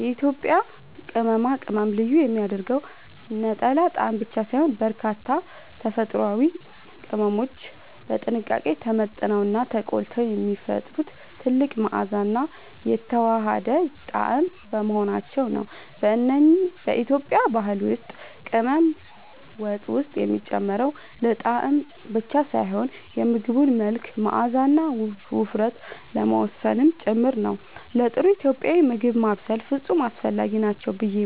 የኢትዮጵያን ቅመማ ቅመም ልዩ የሚያደርገው ነጠላ ጣዕም ብቻ ሳይሆን፣ በርካታ ተፈጥሯዊ ቅመሞች በጥንቃቄ ተመጥነውና ተቆልተው የሚፈጥሩት ጥልቅ መዓዛና የተዋሃደ ጣዕም በመሆናቸው ነው። በኢትዮጵያ ባህል ውስጥ ቅመም ወጥ ውስጥ የሚጨመረው ለጣዕም ብቻ ሳይሆን የምግቡን መልክ፣ መዓዛና ውፍረት ለመወሰን ጭምር ነው። ለጥሩ ኢትዮጵያዊ ምግብ ማብሰል ፍጹም አስፈላጊ ናቸው ብዬ